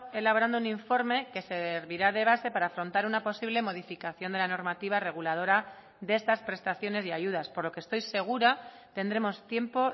elaborando un informe que servirá de base para afrontar una posible modificación de la normativa reguladora de estas prestaciones y ayudas por lo que estoy segura tendremos tiempo